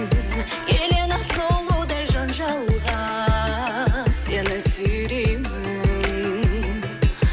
елена сұлудай жанжалға сені сүйреймін